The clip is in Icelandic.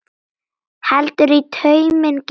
Heldur í tauminn gæfa.